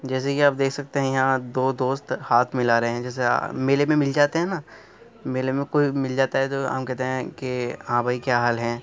जैसे कि आप देख सकते हैं यहा दो दोस्त हाथ मिला रहे हैं जैसे मेले में मिल जाते है न मेले में कोई मिल जाता है तो हम कहते है के हाँ भाई क्या हाल है।